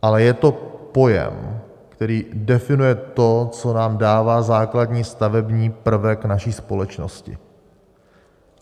Ale je to pojem, který definuje to, co nám dává základní stavební prvek naší společnosti.